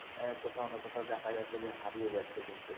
কোথাও না কোথাও দেখা যাচ্ছে যে হারিয়ে যাচ্ছে দিনকে